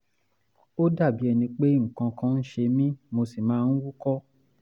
ó dàbí ẹni pé nǹkan kan ń ṣe mí mo sì máa ń húkọ́